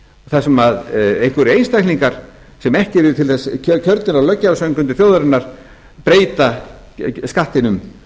þar sem einhverjir einstaklingar sem ekki eru til þess kjörnir af löggjafarsamkundu þjóðarinnar breyta skattinum